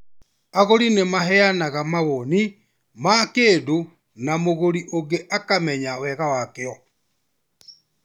Agũri nĩ maheanaga mawoni ma kĩndũ na mũgũri ũngĩ akamenya wega wakĩo